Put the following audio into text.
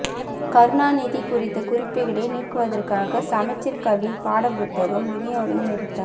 கருணாநிதி குறித்த குறிப்புகளை நீக்குவதற்காக சமச்சீர் கல்வி பாடப் புத்தகம் வினியோகம் நிறுத்தம்